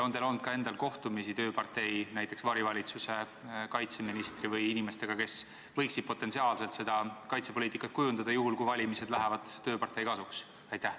Kas teil on endal olnud kohtumisi tööpartei varivalitsuse kaitseministri või inimestega, kes võiksid potentsiaalselt seda kaitsepoliitikat kujundada juhul, kui valimised lähevad tööpartei kasuks?